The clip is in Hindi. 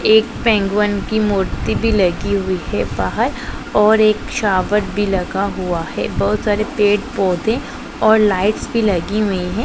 एक पेंगुइन की मूर्ति भी लगी हुई है बाहर और एक सावर भी लगा हुआ है बहुत सारे पेड़ पौधे और लाइट्स भी लगी हुई हैं।